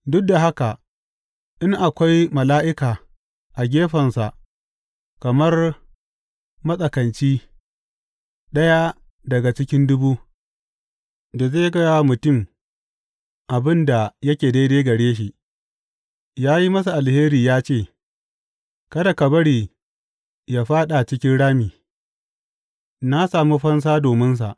Duk da haka, in akwai mala’ika a gefensa kamar matsakanci, ɗaya daga cikin dubu, da zai gaya wa mutum abin da yake daidai gare shi, yă yi masa alheri yă ce, Kada ka bari yă fāɗa cikin rami, na samu fansa dominsa.’